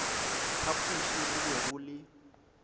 phapoši go be go le